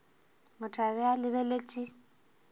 motho a be a lebeletše